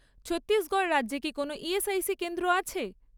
ছত্তিশগড় রাজ্যে কি কোনও ইএসআইসি কেন্দ্র আছে?